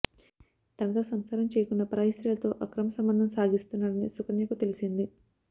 తనతో సంసారం చెయ్యకుండా పరాయి స్త్రీలతో అక్రమ సంబంధం సాగిస్తున్నాడని సుకన్యకు తెలిసింది